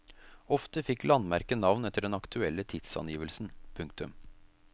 Ofte fikk landmerket navn etter den aktuelle tidsangivelsen. punktum